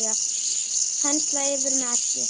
Penslað yfir með eggi.